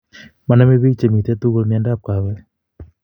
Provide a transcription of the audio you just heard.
Maname piik chemitei tugul miondap kawek